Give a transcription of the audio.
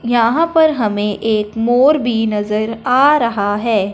यहां पर हमें एक मोर भी नजर आ रहा हैं।